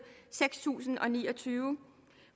seks tusind og ni og tyve